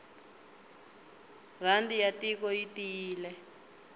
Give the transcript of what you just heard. rhandi ya tiko yi tiyile